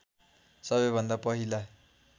सबैभन्दा पहिला